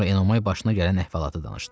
Sonra Enomay başına gələn əhvalatı danışdı.